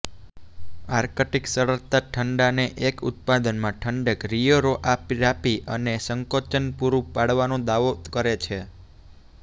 Arctic સરળતા ઠંડાને એક ઉત્પાદનમાં ઠંડક રિયોરોઆરાપી અને સંકોચન પૂરું પાડવાનો દાવો કરે છે